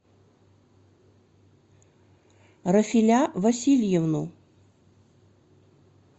рафиля васильевну